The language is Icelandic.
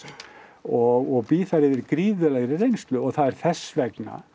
og bý þar yfir gríðarlegri reynslu og það er þess vegna